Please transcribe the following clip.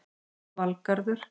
Valgarður